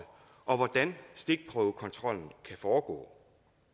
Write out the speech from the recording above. og hvordan stikprøvekontrollen kan foregå